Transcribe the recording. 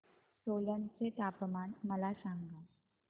सोलन चे तापमान मला सांगा